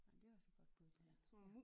Ej men det også et godt bud på den ja